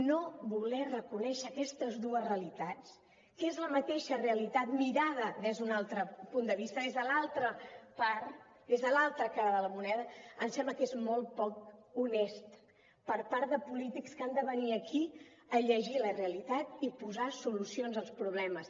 no voler reconèixer aquestes dues realitats que és la mateixa realitat mirada des d’un altre punt de vista des de l’altra part des de l’altra cara de la moneda em sembla que és molt poc honest per part de polítics que han de venir aquí a llegir la realitat i posar solucions als problemes